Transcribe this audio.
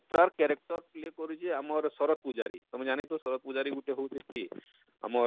ତାର character play କରୁଛେ ଆମର ଶରତ ପୁଝାରୀ ତମେ ଜାଣି ଥିବ ଶରତ ପୁଝାରୀ ଗୁଟେ ହଉଛେ କିଏ ଆମର?